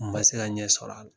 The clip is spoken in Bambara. U ma se ka ɲɛ sɔrɔ a la